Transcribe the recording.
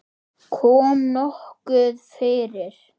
Kom nokkuð fyrir?